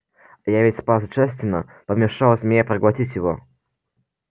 я ведь спас джастина помешал змее проглотить его